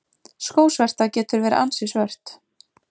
Skósverta getur verið ansi svört.